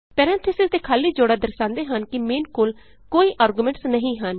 parentheses ਦੇ ਖਾਲੀ ਜੋੜਾ ਦਰਸਾਂਦੇ ਹਨ ਕਿ ਮੇਨ ਕੋਲ ਕੋਈ ਆਰਗੁਮੈਨਟਸ ਨਹੀਂ ਹਨ